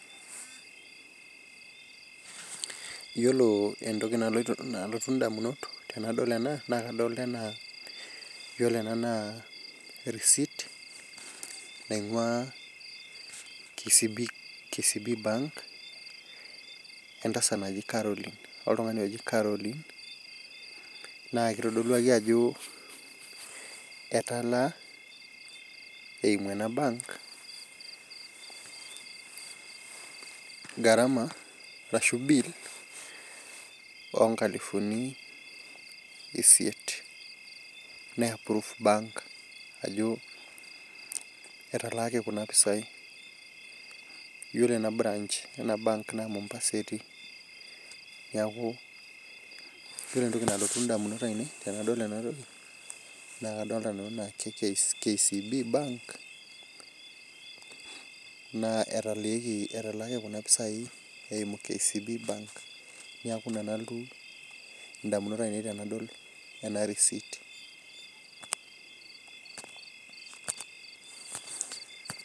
Iyiolou entoki nalotu damunot tenadol ena, naa kadolta enaa ore ena naa ee receipt nainguaa KCB Bank etasat naji Caroline, oltungani oji Caroline naa kitodolu akeyie ajo etaalaa eimu ena bank garama arashu bill ooh kalifuni isiet ne_ approve e-bank naa kore ena bank naa Mombasa etii, neeku kore entoki nalotu idamunot aainei naa KCB Bank etalaaki iropiani eimu ena bank, neeku ina nalotu idamunot aainei tenadol ena pisha.